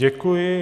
Děkuji.